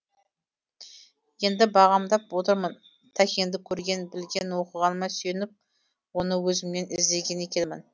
енді бағамдап отырмын тәкеңді көрген білген оқығаныма сүйеніп оны өзіммен іздеген екенмін